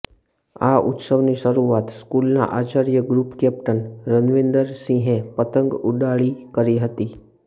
આ ઉત્સવની શરૂઆત સ્કૂલના આચાર્ય ગૃપ કેપ્ટન રવીન્દરસિંહે પતંગ ઉડાળી કરી હતી